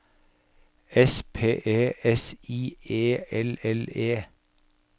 S P E S I E L L E